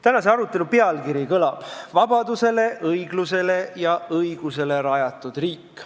Tänase arutelu pealkiri kõlab nii: "Vabadusele, õiglusele ja õigusele rajatud riik".